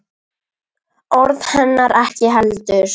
Orð hennar ekki heldur.